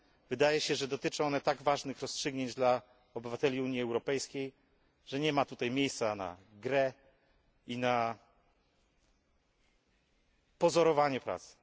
Wydaje się, że dotyczą one tak ważnych rozstrzygnięć dla obywateli Unii Europejskiej, że nie ma tutaj miejsca na grę i na pozorowanie pracy.